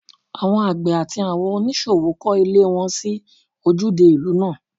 Àwọn àgbẹ̀ àti àwọn oníṣòwò kọ́ ilé wọn sí ojúde ìlú náà